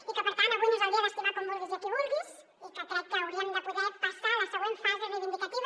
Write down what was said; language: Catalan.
i per tant avui no és el dia d’estimar com vulguis i qui vulguis i crec que hauríem de poder passar a la següent fase reivindicativa